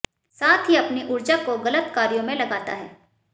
साथ ही अपनी ऊर्जा को गलत कार्यों में लगाता है